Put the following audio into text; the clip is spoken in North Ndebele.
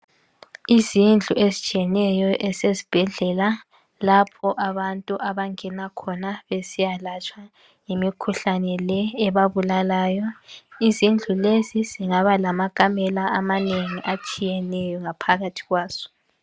Izindlu ezitshiyeneyo ezisebhedlela lapho abantu abangena khona besiyalatshwa imikhuhlane le ebabulalayo. Izindlu lezi zingaba lamakamela atshiyeneyo phakathi kwazo